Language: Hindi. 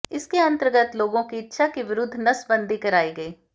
इसके अंतर्गत लोगों की इच्छा के विरुद्ध नसबंदी कराई गयी